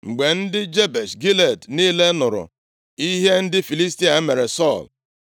Mgbe ndị Jebesh Gilead niile nụrụ ihe ndị Filistia mere Sọl,